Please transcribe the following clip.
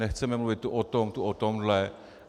Nechceme mluvit tu o tom, tu o tomhle.